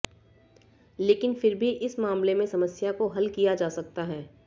लेकिन फिर भी इस मामले में समस्या को हल किया जा सकता है